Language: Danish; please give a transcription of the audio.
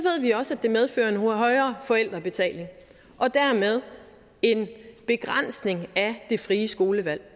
vi også at det medfører en højere forældrebetaling og dermed en begrænsning af det frie skolevalg